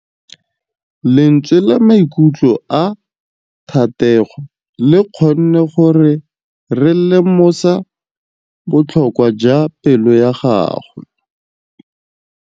Lentswe la maikutlo a Thategô le kgonne gore re lemosa botlhoko jwa pelô ya gagwe.